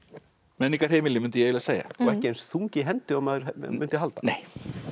menningarheimili myndi ég eiginlega segja og ekki eins þung í hendi og maður mundi halda nei